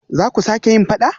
Zaku sake yin fada?